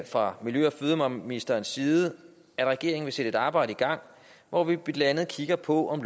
fra miljø og fødevareministerens side at regeringen vil sætte et arbejde i gang hvor vi blandt andet kigger på om